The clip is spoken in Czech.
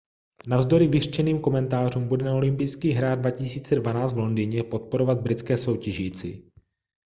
navzdory vyřčeným komentářům bude na olympijských hrách 2012 v londýně podporovat britské soutěžící